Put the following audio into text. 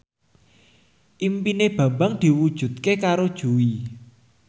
impine Bambang diwujudke karo Jui